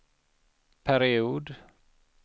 period